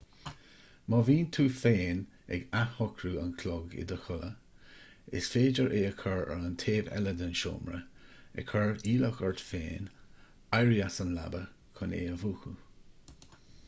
má bhíonn tú féin ag athshocrú an chloig i do chodladh is féidir é a chur ar an taobh eile den seomra ag cur iallach ort féin éirí as an leaba chun é a mhúchadh